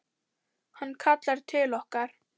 Hann kallar til okkar.